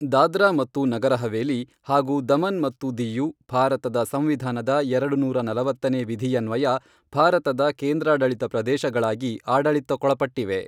ದಾದ್ರಾ ಮತ್ತು ನಗರ ಹವೇಲಿ ಹಾಗೂ ದಮನ್ ಮತ್ತು ದಿಯು ಭಾರತದ ಸಂವಿಧಾನದ ಎರಡುನೂರಾ ನಲವತ್ತನೇ ವಿಧಿಯನ್ವಯ ಭಾರತದ ಕೇಂದ್ರಾಡಳಿತ ಪ್ರದೇಶಗಳಾಗಿ ಆಡಳಿತಕ್ಕೊಳಪಟ್ಟಿವೆ.